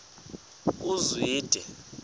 uzwide